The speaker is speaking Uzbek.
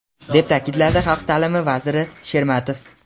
deb ta’kidladi Xalq ta’lim vaziri Shermatov.